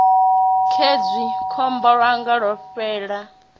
khezwi gombo ḽanga ḽo fovhela